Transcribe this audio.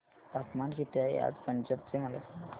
तापमान किती आहे आज पंजाब चे मला सांगा